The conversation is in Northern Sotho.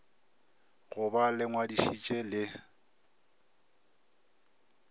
go ba le ngwadišitše le